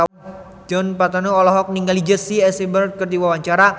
Djoni Permato olohok ningali Jesse Eisenberg keur diwawancara